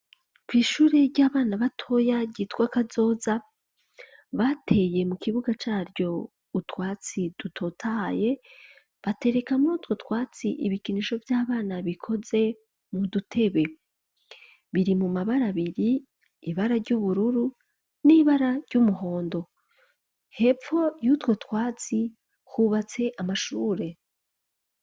kwishure ry'abana batoya ryitwa kazoza , bateye mu kibuga caryo utwatsi dutotahaye, batereka mu rutwo twatsi ibikinisho vy'abana bikoze mu dutebe .Biri mu mabara abiri , ibara ry'ubururu n'ibara ry'umuhondo. Hepfo yutwotwatsi hubatse amashure.